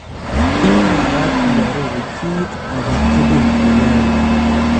Iy magaat iaroor kiit ake tukul ne yae